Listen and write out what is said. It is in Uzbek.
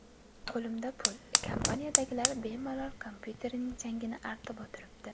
Qo‘limda pul, kompaniyadagilar bemalol kompyuterining changini artib o‘tiribdi.